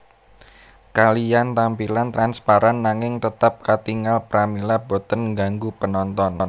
Kaliyan tampilan transparan nanging tetap katingal pramila boten ngganggu penonton